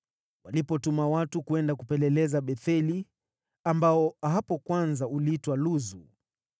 Walipotuma watu kwenda kupeleleza Betheli (ambao hapo kwanza uliitwa Luzu),